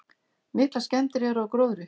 Miklar skemmdir eru á gróðri.